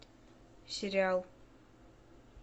сериал